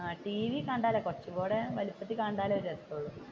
ടിവിയിൽ കണ്ടാലേ കുറച്ചും കൂടി വലുപ്പത്തിൽ കണ്ടാലേ രസമുള്ളൂ.